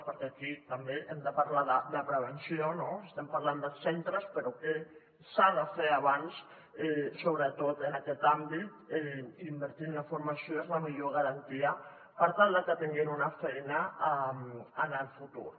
perquè aquí també hem de parlar de prevenció no estem parlant dels centres però què s’ha de fer abans sobretot en aquest àmbit invertir en la formació és la millor garantia per tal de que tinguin una feina en el futur